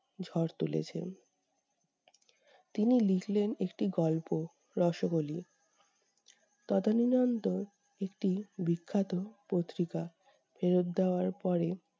ঝড় তুলেছেন। তিনি লিখলেন একটি গল্প- রসোগোল্লা। তদানীনন্দ একটি বিখ্যাত পত্রিকা ফেরত দেওয়ার পরে-